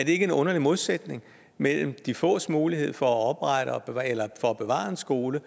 ikke en underlig modsætning mellem de fås mulighed for at bevare en skole